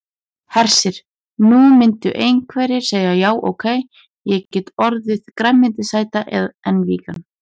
Hersir: Nú myndu einhverjir segja já ok, ég get orðið grænmetisæta en vegan?